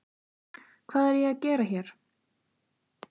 Hvað er ég að gera hér?